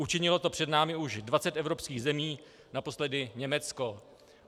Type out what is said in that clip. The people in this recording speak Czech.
Učinilo to před námi už 20 evropských zemí, naposledy Německo.